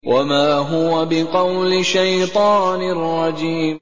وَمَا هُوَ بِقَوْلِ شَيْطَانٍ رَّجِيمٍ